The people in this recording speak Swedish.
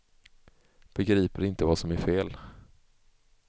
Begriper inte vad som är fel.